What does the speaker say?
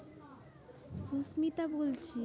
সুস্মিতা বলছি।